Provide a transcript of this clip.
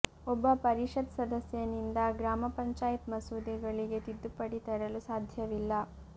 ಒಬ್ಬ ಪರಿಷತ್ ಸದಸ್ಯನಿಂದ ಗ್ರಾಮ ಪಂಚಾಯತ್ ಮಸೂದೆಗಳಿಗೆ ತಿದ್ದುಪಡಿ ತರಲು ಸಾಧ್ಯವಿಲ್ಲ